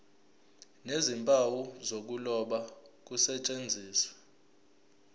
nezimpawu zokuloba kusetshenziswe